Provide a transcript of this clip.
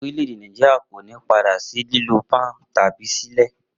Orílẹ̀-èdè Nàìjíríà kò ní padà sí lílo pọ́ùn tàbí ṣílè